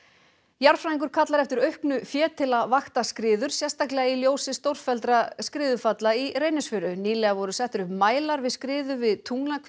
jarðfræðingur kallar eftir auknu fé til að vakta skriður sérstaklega í ljósi stórfelldra skriðufalla í Reynisfjöru nýlega voru settir upp mælar við skriðu við